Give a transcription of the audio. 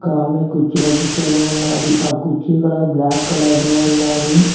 ఒక ఆమె కుర్చీలో కుసోని ఉన్నాది ఆ కుర్చీ కలర్ బ్లాక్ కలర్లో ఉన్నాది.